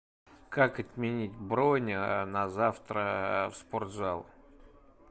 как отменить бронь на завтра в спортзал